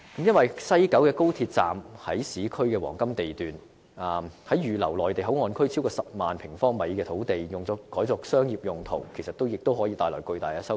因為，西九高鐵站位於市區黃金地段，如果把預留作內地口岸區超過10萬平方米的土地，改作商業用途，也可以帶來巨大收益。